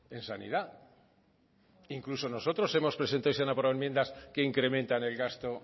en sanidad e incluso nosotros hemos presentado y se han aprobado enmiendas que incrementan el gasto